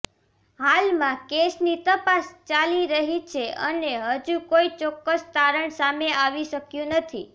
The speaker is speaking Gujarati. હાલમાં કેસની તપાસ ચાલી રહી છે અને હજુ કોઈ ચોક્કસ તારણ સામે આવી શક્યું નથી